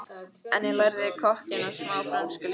En ég lærði kokkinn og smá frönsku líka og